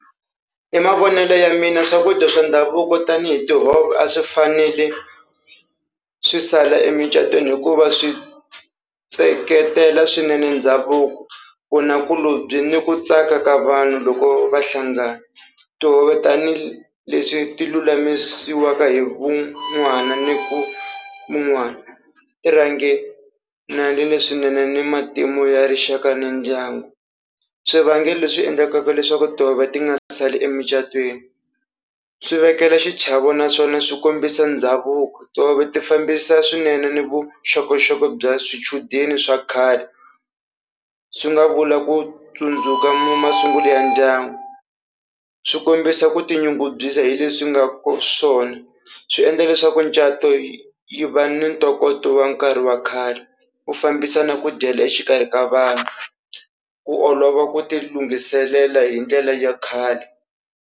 Hi mavonelo ya mina swakudya swa ndhavuko tanihi tihove a swi fanele swi sala emucatweni hikuva swi seketela swinene ndhavuko vunakulobye ni ku tsaka ka vanhu loko va hlangana. Tihove tanihileswi ti lulamisiwaka hi van'wana ni ku mun'wani ti rhange swinene ni matimu ya rixaka na ndyangu. Swivangelo leswi endlaka leswaku tihove ti nga sali emucatweni swi vekela xichavo naswona swi kombisa ndhavuko tihove ti fambisa swinene ni vuxokoxoko bya swichudeni swa khale swi nga vula ku tsundzuka masungulo ya ndyangu, swi kombisa ku tinyungubyisa hi leswi nga ka swona swi endla leswaku micato yi yi va ni ntokoto wa nkarhi wa khale ku fambisa na ku dyela exikarhi ka vanhu ku olova ku ti lunghiselela hi ndlela ya khale.